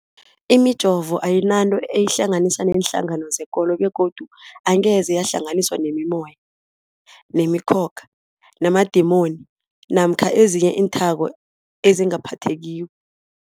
Imijovo ayinanto eyihlanganisa neenhlangano zekolo begodu angeze yahlanganiswa nemimoya, nemi khokha, namadimoni namkha ezinye iinthako ezingaphathekiko.